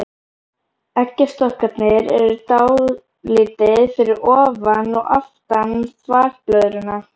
Eggjastokkarnir eru dálítið fyrir ofan og aftan þvagblöðruna.